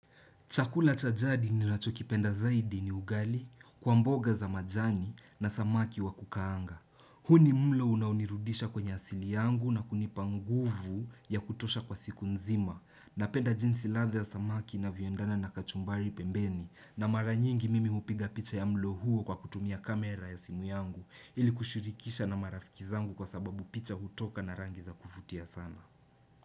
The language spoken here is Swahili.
Chakula cha jadi ninachokipenda zaidi ni ugali, kwa mboga za majani na samaki wa kukaanga. Huu ni mlo unaonirudisha kwenye asili yangu na kunipanguvu ya kutosha kwa siku nzima. Na penda jinsi ladha ya samaki na inavyoendana na kachumbari pembeni na maranyingi mimi hupiga picha ya mlo huo kwa kutumia kamera ya simu yangu ili kushurikisha na marafikizangu kwa sababu picha hutoka na rangi za kuvutia sana.